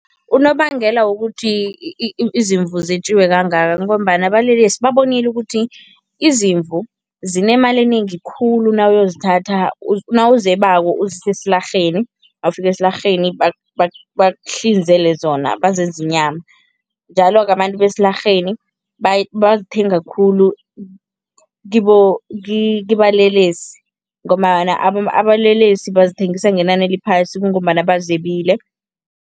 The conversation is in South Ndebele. Unobangela wokuthi izimvu zetjiwe kangaka kungombana abalelesi babonile ukuthi izimvu zinemali enengi khulu nawuyozithatha nawuzebako uzise esilarheni. Nawufika esilarheni bakuhlinzele zona, bazenze inyama njalo-ke abantu besilarheni bazithenga khulu kibalelesi ngombana abalelesi bazithengisa ngenani eliphasi kungombana bazebile.